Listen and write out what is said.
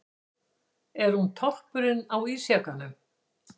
Er hún toppurinn á ísjakanum?